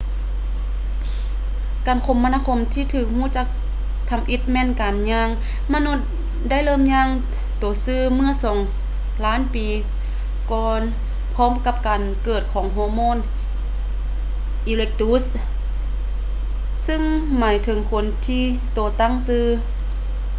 ການຄົມມະນາທີ່ຖືກຮູ້ຈັກທຳອິດແມ່ນການຍ່າງ ມະນຸດໄດ້ເລີ່ມຍ່າງໂຕຊື່ເມື່ອສອງລ້ານປີກ່ອນພ້ອມກັບການເກີດຂອງ ໂຮໂມ ອີເຣັກຕຸດສ໌ homo erectus ຊຶ່ງໝາຍເຖິງຄົນທີ່ໂຕຕັ້ງຊື່